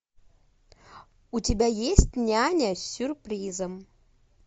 у тебя есть няня с сюрпризом